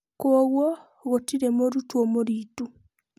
Kwoguo, gũtirĩ mũrutwo mũritu.